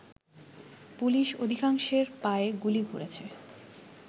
police অধিকাংশের পায়ে গুলি করেছে